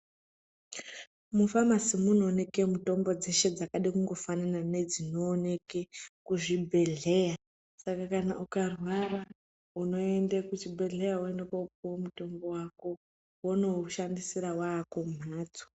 Mufamasi munooneke mitombo dzeshe dzakada kungofanana nezvinooneke kuzvibhehleya saka kana ukarwara unoende kuchibhehleya woenda kunopuwa mutombo wako wondoushandisira wakumbatso.